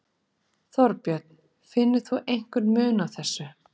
Þorbjörn: Finnur þú einhvern mun á þessu?